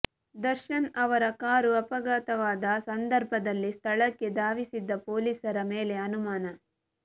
ದರ್ಶನ್ ಅವರ ಕಾರು ಅಪಘಾತವಾದ ಸಂದರ್ಭದಲ್ಲಿ ಸ್ಥಳಕ್ಕೆ ಧಾವಿಸಿದ್ದ ಪೊಲೀಸರ ಮೇಲೆ ಅನುಮಾನ